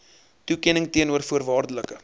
toekenning teenoor voorwaardelike